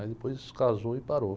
Aí depois casou e parou.